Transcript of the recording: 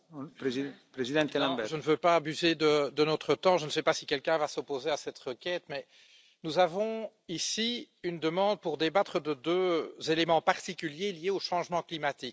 Monsieur le Président, je ne veux pas abuser de notre temps. Je ne sais pas si quelqu'un va s'opposer à cette requête, mais nous avons ici une demande pour débattre de deux éléments particuliers liés au changement climatique.